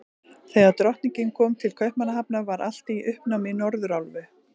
Þegar Drottningin kom til Kaupmannahafnar, var allt í uppnámi í Norðurálfu.